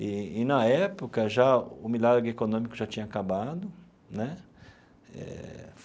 E, na época, já o milagre econômico já tinha acabado né eh.